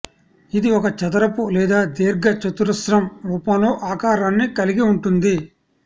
ఇది ఒక చదరపు లేదా దీర్ఘ చతురస్రం రూపంలో ఆకారాన్ని కలిగి ఉంటుంది